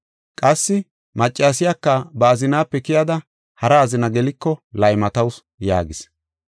Qassi maccasiyaka ba azinaape keyada hara azina geliko laymatawusu” yaagis.